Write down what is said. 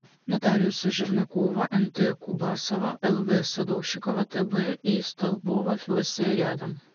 нотариусы жернакова нт кубасова лв садовщикова тб и столбова вс рядом